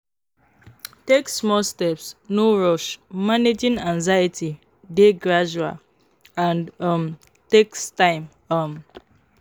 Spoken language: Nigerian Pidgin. Take small steps, no rush; managing anxiety dey gradual and um takes time. um